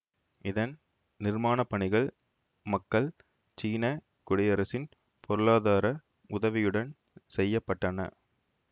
இதன் நிர்மானப்பணிகள் மக்கள் சீன குடியரசின் பொருளாதார உதவியுடன் செய்ய பட்டன